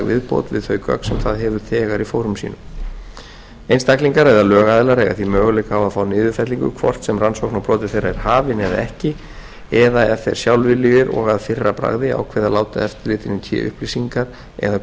viðbót við þau gögn sem það hefur þegar í fórum sínum einstaklingar og lögaðilar eiga því möguleika á að fá niðurfellingu hvort sem rannsókn á broti þeirra er hafin eða ekki ef þeir sjálfviljugir og að fyrra bragði ákveða að láta eftirlitinu í té upplýsingar eða